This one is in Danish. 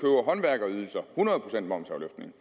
hundrede procent momsafløftning